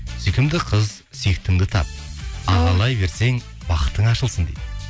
сүйкімді қыз сүйіктіңді тап ағайлай берсең бақытың ашылсын дейді